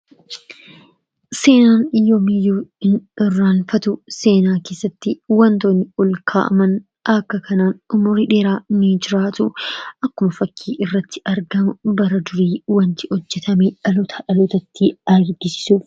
Seenaan yoomiyyuu hin irraanfatu. Seenaa keessatti wantoonni ol kaa'aman akka kanaa umrii dheeraa ni jiraatu. Akkuma fakkii irratti argamu bara durii wanti hojjatame dhalootaa dhalootatti darbee agarsiisu.